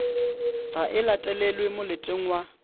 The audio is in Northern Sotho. ga e latelelwe moleteng wa